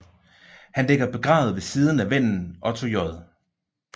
Han ligger begravet ved siden af vennen Otto J